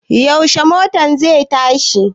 Yaushe motan zai tashi?